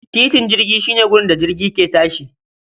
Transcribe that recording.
Titin jirgi shi ne wurin da jirgi yake tashi